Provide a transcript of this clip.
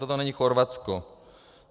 Toto není Chorvatsko.